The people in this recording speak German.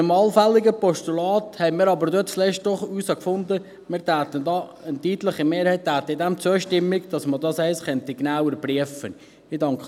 Zuletzt haben wir aber doch herausgefunden, dass eine deutliche Mehrheit einem allfälligen Postulat zustimmt, damit man dies genauer prüfen könnte.